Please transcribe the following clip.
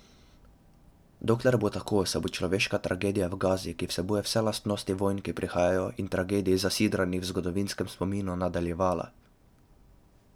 Dokler bo tako, se bo človeška tragedija v Gazi, ki vsebuje vse lastnosti vojn, ki prihajajo, in tragedij, zasidranih v zgodovinskem spominu, nadaljevala.